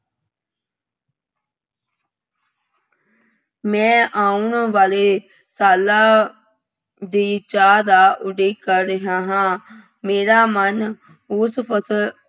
ਮੈਂ ਆਉਣ ਵਾਲੇ ਸਾਲਾਂ ਦੀ ਚਾਅ ਦਾ ਉਡੀਕ ਕਰ ਰਿਹਾ ਹਾਂ। ਮੇਰਾ ਮਨ ਉਸ ਫਸਲ